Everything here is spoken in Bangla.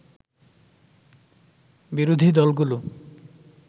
বিরোধী দলগুলো